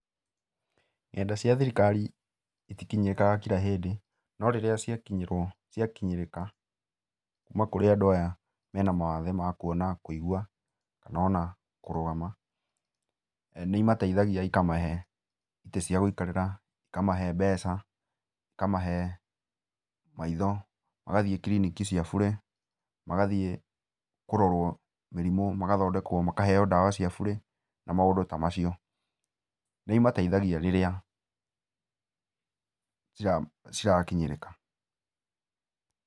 Nenda cia thirikari itikinyĩrĩkaga kila hĩndĩ, no rĩrĩa ciakinyĩrwo ciakinyĩrĩka, kuma kũrĩ andũ aya mena mawathe ma kuona, kuigua kana ona kũrũgama, nĩimateithagia ikamahe itĩ cia gũikarĩra, ikamahe mbeca, ikamahe maitho, magathiĩ kiriniki cia bure, magathiĩ kũrorwo mĩrimũ, magathondekwo, makaheo ndawa cia bure na maũndũ ta macio. Nĩimateithagia rĩrĩa cira, cirakinyĩrĩka.